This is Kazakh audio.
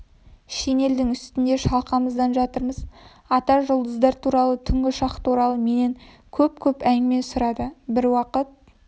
шинельдің үстінде шалқамыздан жатырмыз ата жұлдыздар туралы түнгі ұшақ туралы менен көп-көп әңгіме сұрады бір уақыт